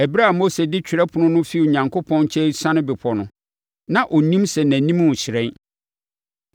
Ɛberɛ a Mose de twerɛ apono no fi Onyankopɔn nkyɛn resiane bepɔ no, na ɔnnim sɛ nʼanim rehyerɛn.